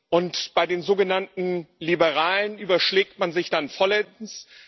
Und bei den sogenannten Liberalen überschlägt man sich dann vollends.